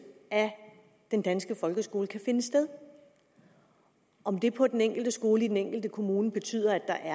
af den danske folkeskole kan finde sted om det på den enkelte skole og i den enkelte kommune betyder at